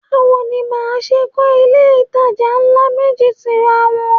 Báwo ni màá ṣe kọ́ ilé-ìtajà ńlá méjì tira wọn?